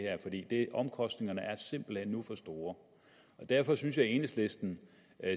her for omkostningerne er simpelt hen nu for store derfor synes jeg at enhedslisten